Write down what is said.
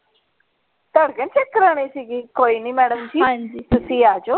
ਧੜਕਣ check ਕਰਾਨੀ ਸੀਗੀ। ਕੋਈ ਨੀ madam ਜੀ ਹਾਂਜੀ ਤੁਸੀਂ ਆ ਜਾਓ।